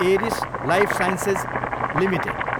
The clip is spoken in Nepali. Eris Lifesciences Ltd